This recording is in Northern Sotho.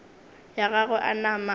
ya gagwe a nama a